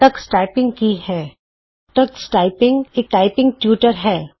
Tux typing ਕੀ ਹੈ Tux typing ਇਕ ਟਾਈਪਿੰਗ ਟਯੂਟਰ ਹੈ